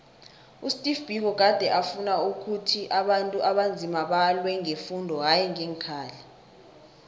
usteve biko gade afuna ukhuthi abantu abanzima balwe ngefundo hayi ngeenkhali